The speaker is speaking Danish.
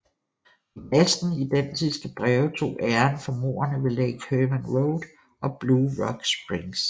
De næsten identiske breve tog æren for mordene ved Lake Herman Road og Blue Rock Springs